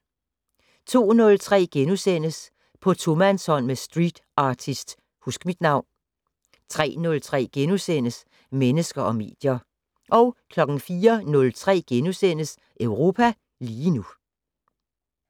02:03: På tomandshånd med streetartist Huskmitnavn * 03:03: Mennesker og medier * 04:03: Europa lige nu *